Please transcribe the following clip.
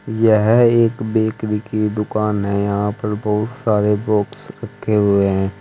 यह एक बेकरी की दुकान है यहां पर बहुत सारे बॉक्स रखे हुए हैं।